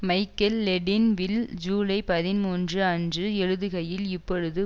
Michael Ledeen வில் ஜூலை பதிமூன்று அன்று எழுதுகையில் இப்பொழுது